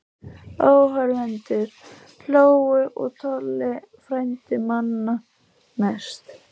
Áhorfendur hlógu og Tolli frændi manna mest.